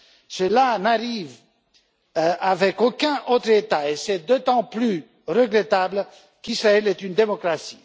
Cela n'arrive avec aucun autre État et c'est d'autant plus regrettable qu'Israël est une démocratie.